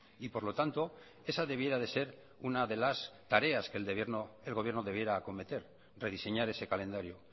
y por lo tanto esa debiera de ser una de las tareas que el gobierno debiera acometer rediseñar ese calendario